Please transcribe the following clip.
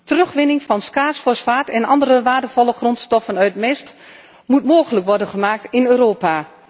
Terugwinning van schaars fosfaat en andere waardevolle grondstoffen uit mest moet mogelijk worden gemaakt in Europa.